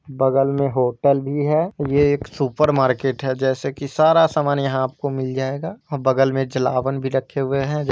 बगल में होटल भी है। ये एक सुपर मार्केट है। जैसे की सारा सामान यहाँ आपको मिल जाएगा। और बगल मे जलावन भी रखे हुए है।